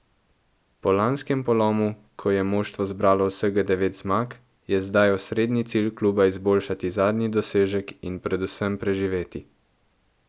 Po lanskem polomu, ko je moštvo zbralo vsega devet zmag, je zdaj osrednji cilj kluba izboljšati zadnji dosežek in predvsem preživeti.